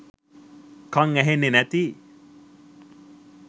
කං ඇහෙන්නෙ නැති